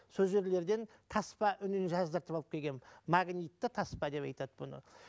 сол жерлерден таспа үнін жаздыртып алып келгенмін магнитті таспа деп айтады бұны